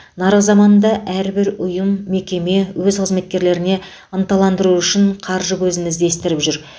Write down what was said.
нарық заманында әрбір ұйым мекеме өз қызметкерлеріне ынталандыру үшін қаржы көзін іздестіріп жүр